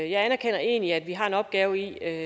jeg anerkender egentlig at vi selvfølgelig har en opgave i at